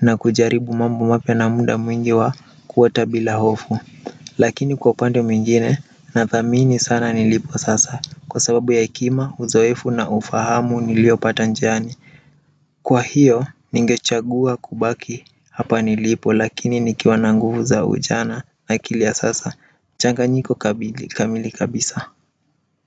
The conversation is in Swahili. na kujaribu mambo mapya na muda mwingi wa kuota bila hofu lakini kwa upande mwingine nathamini sana nilipo sasa kwa sababu ya hekima uzoefu na ufahamu niliopata njiani kwa hiyo ningechagua kubaki hapa nilipo lakini nikiwa na nguvu za ujana na akili ya sasa changanyiko kamili kabisa.